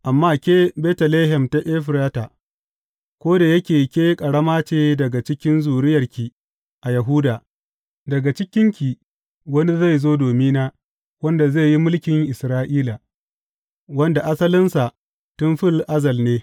Amma ke, Betlehem ta Efrata, ko da yake ke ƙarama ce daga cikin zuriyarki a Yahuda, daga cikinki wani zai zo domina wanda zai yi mulkin Isra’ila, wanda asalinsa tun fil azal ne.